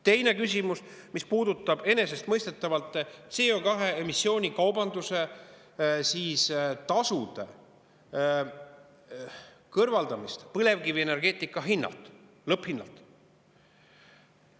Teine küsimus, mis puudutab enesestmõistetavalt CO2 emissiooni kaubanduse tasude kõrvaldamist põlevkivi lõpphinnalt.